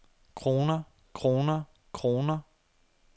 kroner kroner kroner